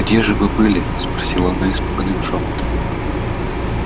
где же вы были спросила она испуганным шёпотом